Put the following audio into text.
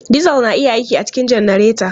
Diesel na iya aiki a cikin janareta.